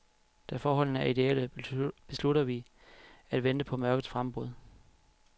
Da forholdene er idéelle, beslutter vi at vente på mørkets frembrud.